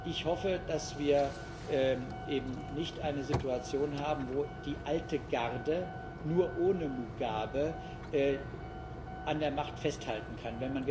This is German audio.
Ich hoffe, dass wir eben nicht eine Situation haben, wo die alte Garde nur ohne Mugabe an der Macht festhalten kann.